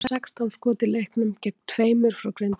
Við áttum sextán skot í leiknum gegn tveimur frá Grindavík.